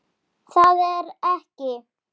Þær yrðu að spjara sig.